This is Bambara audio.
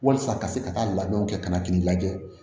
Walasa ka se ka taa labɛnw kɛ ka na k'i lajɛ